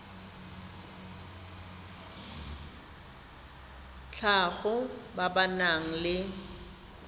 tlhago ba ba nang le